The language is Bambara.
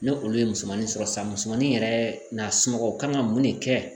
Ni olu ye musomanin sɔrɔ sisan musomanin yɛrɛ n'a sunɔgɔ kan ka mun de kɛ